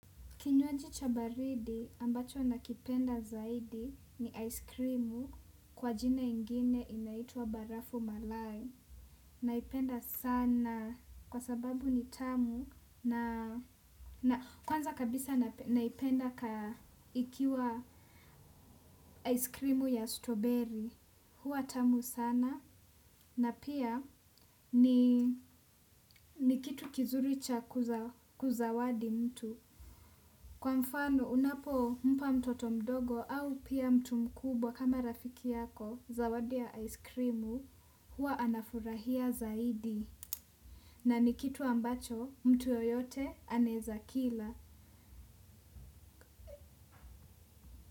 Kinywaji cha baridi ambacho nakipenda zaidi ni aiskrimu kwa jina ingine inaitwa barafu malai. Naipenda sana kwa sababu ni tamu na kwanza kabisa naipenda ikiwa aiskrimu ya strawberry huwa tamu sana na pia ni kitu kizuri cha kuzawadi mtu. Kwa mfano unapo mpa mtoto mdogo au pia mtu mkubwa kama rafiki yako zawadi ya aiskrimu huwa anafurahia zaidi na nikitu ambacho mtu yeyote anaezakila.